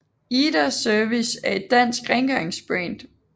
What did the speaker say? IDA Service er et dansk rengøringsbrand